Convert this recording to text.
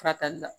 Furakɛli la